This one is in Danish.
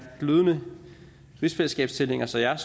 glødende rigsfællesskabstilhænger som jeg